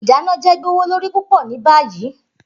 Idana jẹ gbowolori pupọ ni bayi.